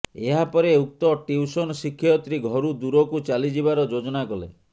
ଏହାପରେ ଉକ୍ତ ଟିଉସନ୍ ଶିକ୍ଷୟିତ୍ରୀ ଘରୁ ଦୂରକୁ ଚାଲିଯିବାର ଯୋଜନା କଲେ